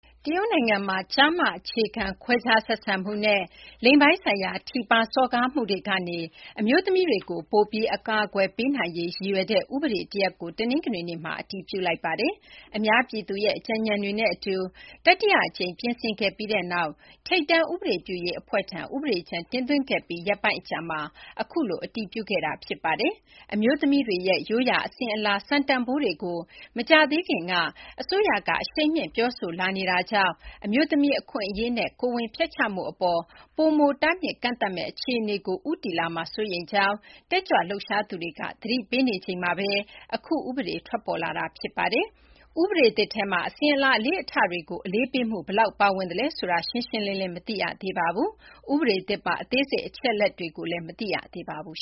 တရုတ်နိုင်ငံမှာ ကျားမ အခြေခံ ခွဲခြားဆက်ဆံမှုနဲ့ လိင်ပိုင်းဆိုင်ရာ ထိပါး စော်ကားမှုတွေကနေ အမျိုးသမီးတွေကို ပိုပြီး အကာအကွယ်ပေးနိုင်ရေး ရည်ရွယ်တဲ့ ဥပဒေ တရပ်ကို တနင်္ဂနွေနေ့မှာ အတည်ပြုလိုက်ပါတယ်။ အများပြည်သူရဲ့ အကြံညဏ်တွေနဲ့ အတူ တတိယ အကြိမ် ပြင်ဆင်ခဲ့ပြီးနောက် ထိပ်တန်း ဥပဒေ ပြုရေး အဖွဲ့ထံ ဥပဒေကြမ်း တင်သွင်းခဲ့ပြီး ရက်ပိုင်းအကြာမှာ အခုလို အတည်ပြုခဲ့တာ ဖြစ်ပါတယ်။ အမျိုးသမီးတွေရဲ့ ရိုးရာအစဉ်အလာ စံတန်ဘိုးတွေကို မကြာသေးခင်ကစ အစိုးရက အရှိန်မြှင့်ပြောဆိုလာနေတာကြောင့် အမျိုးသမီး အခွင့်အရေးနဲ့ ကိုယ်ဝန်ဖျက်ချမှု အပေါ် ပိုမိုတားမြစ်ကန့်သတ်မယ့် အခြေအနေကို ဦးတည်လာမှာ စိုးရိမ်ကြောင်း တက်ကြွလှုပ်ရှားသူတွေ သတိပေးနေချိန်မှာပဲ အခု ဥပဒေ ထွက်ပေါ်လာတာလည်း ဖြစ်ပါတယ်။ ဥပဒေ သစ်ထဲမှာ အစဉ်အလာ အလေ့အထတွေကို အလေးပေးမှု ဘယ်လောက် ပါဝင်သလဲ ဆိုတာကတော့ ရှင်းရှင်းလင်းလင်း မသိရသေးပါဘူး။ ဥပဒေသစ်ပါ အသေးစိတ် အချက်အလက်တွေကိုလည်း မသိရသေးပါဘူး